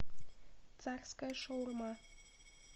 царская шаурма